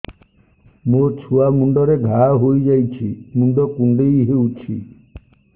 ମୋ ଛୁଆ ମୁଣ୍ଡରେ ଘାଆ ହୋଇଯାଇଛି ମୁଣ୍ଡ କୁଣ୍ଡେଇ ହେଉଛି